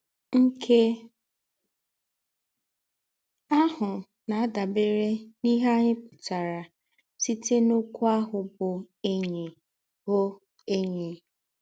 Nkè áhụ̀ na-àdàbèrè n’íhè ányị̀ pụ̀tàrà sītè n’òkwú áhụ̀ bụ́ ‘ényí bụ́ ‘ényí